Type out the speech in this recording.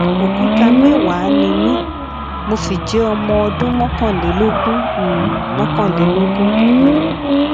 òkúta mẹwàá ni mí mo sì jẹ ọmọ ọdún mọkànlélógún um mọkànlélógún um